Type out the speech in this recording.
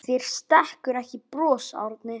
Þér stekkur ekki bros Árni.